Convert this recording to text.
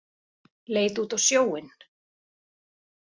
Leit út á sjóinn.